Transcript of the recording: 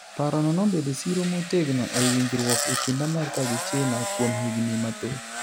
Paro no nobedo siro motegno ei winjruok ekind Amerka gi China kuom higni mathoth.